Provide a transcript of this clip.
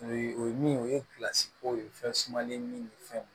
O ye o ye min ye o ye kow ye fɛn sumalen min fɛnw